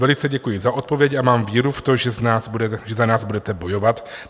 Velice děkuji za odpověď a mám víru v to, že za nás budete bojovat.